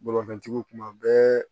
Bolimafɛntigiw kuma bɛɛ